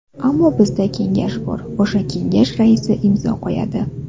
Ammo bizda kengash bor, o‘sha kengash raisi imzo qo‘yadi.